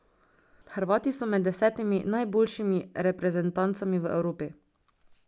Hrvati so med desetimi najboljšimi reprezentancami v Evropi.